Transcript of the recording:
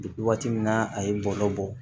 Waati min na a ye bɔlɔ bɔ